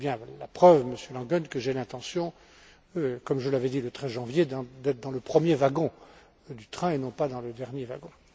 C'est bien la preuve, Monsieur Langen, que j'ai l'intention, comme je l'avais dit le 13 janvier, d'être dans le premier wagon du train et non pas dans le dernier wagon.